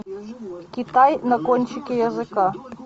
китай на кончике языка